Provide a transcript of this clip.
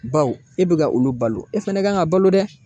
Baw e be ka olu balo e fɛnɛ kan ka balo dɛ.